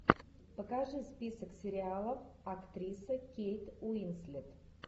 покажи список сериалов актриса кейт уинслет